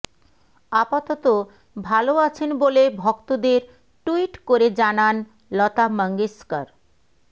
আপাতত ভাল আছেন বলে ভক্তদের ট্যুইট করে জানান লতা মঙ্গেশকর